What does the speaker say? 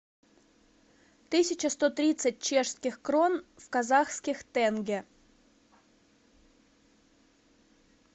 тысяча сто тридцать чешских крон в казахских тенге